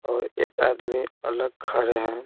और एक आदमी अलग खरे हैं।